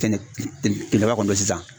Kɛnɛ ki ki kileba kɔni don sisan.